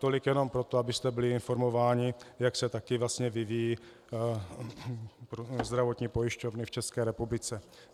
Tolik jenom proto, abyste byli informováni, jak se také vlastně vyvíjejí zdravotní pojišťovny v České republice.